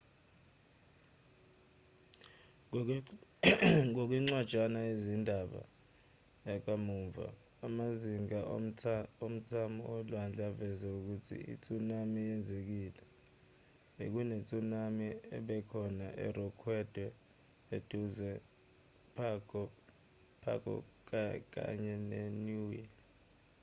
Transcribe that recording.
ngokwencwajana yezindaba yakamuva amazinga omthamo olwandle aveze ukuthi i-tsunami yenzekile bekune-tsunami ebekhona erekhodwe eduze nepago pago kanye neniue